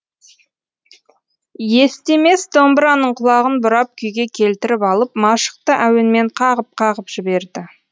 естемес домбыраның құлағын бұрап күйге келтіріп алып машықты әуенмен қағып қағып жіберді